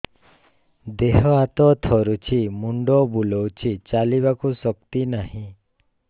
ଦେହ ହାତ ଥରୁଛି ମୁଣ୍ଡ ବୁଲଉଛି ଚାଲିବାକୁ ଶକ୍ତି ନାହିଁ